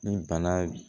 Ni bana